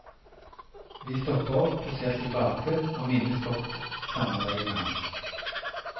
Vi stopper opp og ser tilbake og minnes godt samarbeidet med han.